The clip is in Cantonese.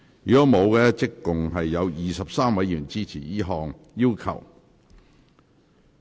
如果沒有，合共有23位議員支持這項要求。